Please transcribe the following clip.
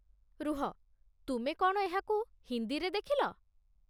ରୁହ, ତୁମେ କ'ଣ ଏହାକୁ ହିନ୍ଦୀରେ ଦେଖିଲ?